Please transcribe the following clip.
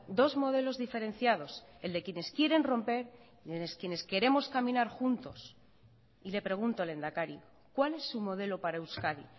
dos modelos diferenciados el de quienes quieren romper y el de quienes queremos caminar juntos y le pregunto lehendakari cuál es su modelo para euskadi